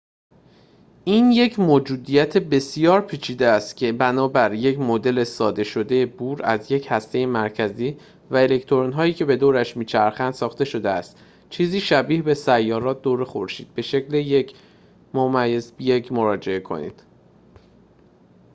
این یک موجودیت بسیار پیچیده است که بنابر یک مدل ساده شده بور از یک هسته مرکزی و الکترون‌هایی که به دورش می‌چرخنده ساخته شده است چیزی شبیه به سیارات دور خورشید به شکل ۱.۱ مراجعه کنید